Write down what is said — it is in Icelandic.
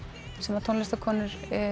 sem tónlistarkonur